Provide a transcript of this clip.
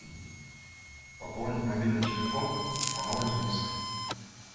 пополнить мобильный телефон иванова дениса